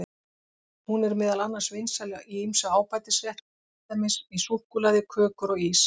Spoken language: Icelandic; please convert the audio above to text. Hún er meðal annars vinsæl í ýmsa ábætisrétti, til dæmis í súkkulaði, kökur og ís.